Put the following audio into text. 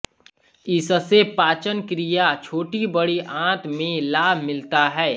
इससे पाचन क्रिया छोटीबड़ी आँत में लाभ मिलता है